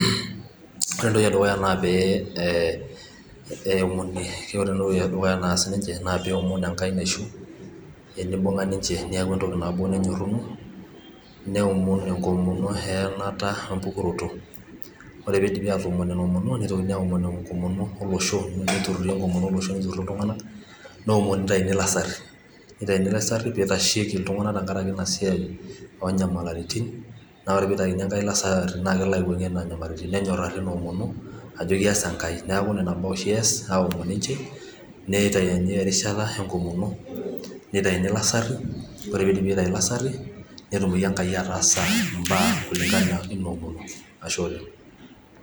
Ore entoki edukuya naa pee ,ee eomoni .Ore entoki edukuya naas ninche naa pee ewomon Enkai naishu tenibung'a ninche neeku entoki nabo nenyoruno neomon enkomono eeyanata empukoroto ore peeidip aatoomon ina omono nitoki aaomon enkomono olosho nitururi iltung'anak neomoni nitayuni ilasari peeitasheki iltung'anak tenkaraki ina siai onyamalaritin ore ake peeitakini Enkai ilasari naa kelo aiwuang'ie nena nyamalaritin nenyorari ina omono ajo keas Enkai neeku nena baa oshi eas aaaomon ninche neitayuni erishata enkomono neitauni ilasari ore peidipi aaitayu ilasari netumoki enkai ataasa imbaa kulinkana ina omono ashe oleng.